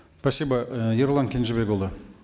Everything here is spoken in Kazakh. спасибо э ерұлан кенжебекұлы